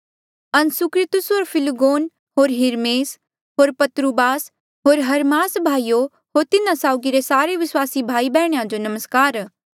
असुंक्रितुस होर फिलगोन होर हिरमेस होर पत्रुबास होर हर्मास भाईयो होर तिन्हा साउगी रे सारे विस्वासी भाई बैहणीया जो नमस्कार